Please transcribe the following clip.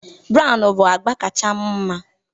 Brown bụ agba kacha m mma